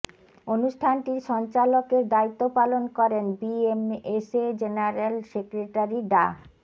অনুষ্ঠানটির সঞ্চালকের দায়িত্ব পালন করেন বিএমএসএ জেনারেল সেক্রেটারি ডা